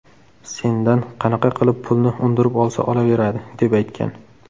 Sendan qanaqa qilib pulni undirib olsa olaveradi”, deb aytgan.